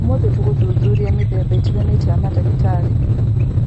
Ũmũthĩ tũgũthuthuria mĩthemba ĩtiganĩte ya mandagĩtarĩ